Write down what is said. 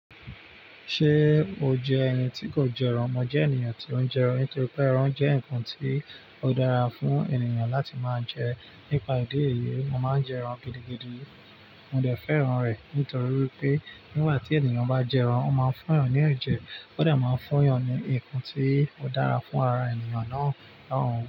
Ṣé o jẹ́ ẹni tí kò jẹ ẹran? Mo jẹ́ ènìyàn tí ó ń jẹ ẹran, nítorí pé ẹran jẹ́ ǹkan tí ó dára fún ènìyàn láti máa jẹ. Nípa idi èyii, mo máa ń jẹ ẹran gidigidi. Mo dẹ̀ fẹ́ ẹran rẹ̀ nítorí wípé nígbà tí ènìyàn bá jẹ ẹran, ó máa ń fún ẹni ní ẹ̀jẹ̀, ó dẹ̀ máa ń fún ẹni ní ǹkan tí ó dára fún ara ènìyàn náà lóun.